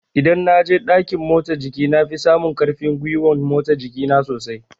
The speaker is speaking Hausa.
Idan na je ɗakin motsa jiki na fi samun ƙarfin gwiwan motsa jiki na sosai